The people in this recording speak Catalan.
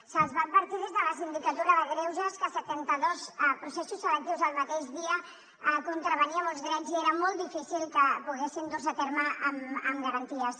se’ls va advertir des de la sindicatura de greuges que setanta dos processos selectius el mateix dia contravenia molts drets i era molt difícil que poguessin dur se a terme amb garanties